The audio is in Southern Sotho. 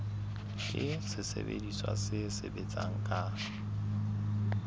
ke sesebediswa se sebetsang ka